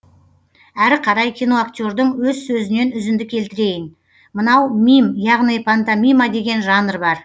әрі қарай киноактердің өз сөзінен үзінді келтірейін мынау мим яғни пантомима деген жанр бар